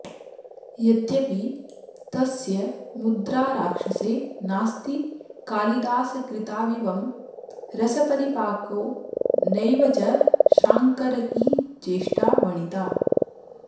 यद्यपि तस्य मुद्राराक्षसे नास्ति कालिदासकृताविवं रसपरिपाको नैव च शाङ्गरकी चेष्टा वणिता